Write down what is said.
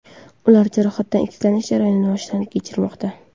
Ular jarohatdan tiklanish jarayonini boshdan kechirmoqda .